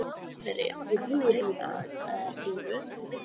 Vegna þessara efasemda breyta þeir ekki röðinni sem hér er lýst.